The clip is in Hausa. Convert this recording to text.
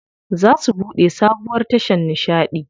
Za su buɗe sabuwar tashar nishaɗi.